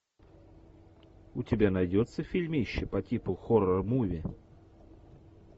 у тебя найдется фильмище по типу хоррор муви